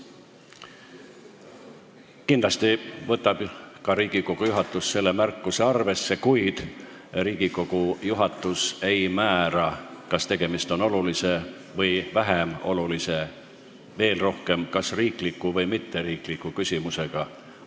Kindlasti võtab Riigikogu juhatus selle märkuse arvesse, kuid Riigikogu juhatus ei määra, kas tegemist on olulise või vähem olulise küsimusega, veel vähem seda, kas tegemist on riikliku või mitteriikliku küsimusega.